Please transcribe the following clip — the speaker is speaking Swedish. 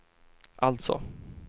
alltså